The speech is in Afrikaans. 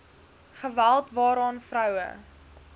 geweld waaraan vroue